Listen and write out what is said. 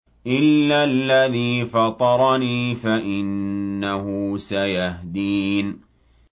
إِلَّا الَّذِي فَطَرَنِي فَإِنَّهُ سَيَهْدِينِ